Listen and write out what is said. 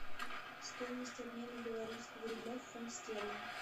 стоимость обмена белорусского рубля в фунт стерлинг